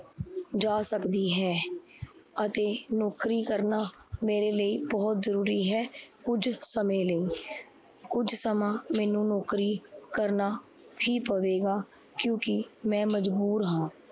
ਜਾਂ ਸਕਦੀ ਹੈ। ਅਤੇ ਨੋਕਰੀ ਕਰਨਾ ਮੇਰੇ ਲਈ ਬਹੁਤ ਜਰੂਰੀ ਹੈ। ਕੁਝ ਸਮੇ ਲਈ ਕੁਝ ਸਮਾਂ ਮੈਨੂੰ ਨੋਕਰੀ ਕਰਨਾ ਹੀ ਪਵੇਗਾ, ਕਿਉਕਿ ਮੈ ਮਜਬੂਰ ਹਾਂ